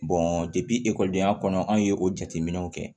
ekɔlidenya kɔnɔ anw ye o jateminɛw kɛ